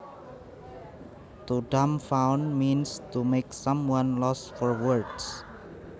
To dumbfound means to make someone lost for words